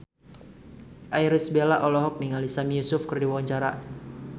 Irish Bella olohok ningali Sami Yusuf keur diwawancara